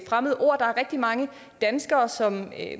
fremmede ord der er rigtig mange danskere som